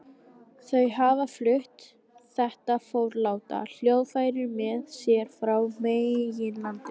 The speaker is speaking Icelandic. Þau hafa flutt þetta forláta hljóðfæri með sér frá meginlandinu.